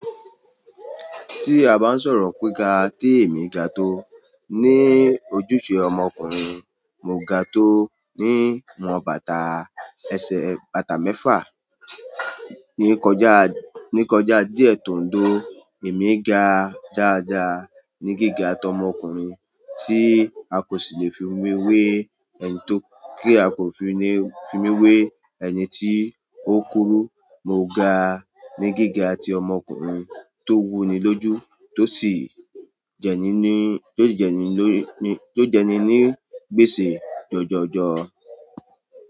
Tí a bá ń sọ̀rọ̀ pé ga, tí èmi ga tó ní ojúṣe ọmọkùnrin, mo ga tó ní wọn bàtà ẹsẹ̀ bàtà mẹ́fà. Ní kọjá, ní kọjá díẹ̀ tòńdó, èmi ga dáadaá ní gíga tọmọkùnrin tí a kò sì lè fi mi wé, ẹni tó, kí a kò fi ni, fi mi wé ẹni tí ó kúrú. Mo ga ní gíga tí ọmọkùnrin tó wúni lójú tó sì jẹni ní, tó jẹni ló ni, tó jẹni ní gbèsè jọjọ jọ.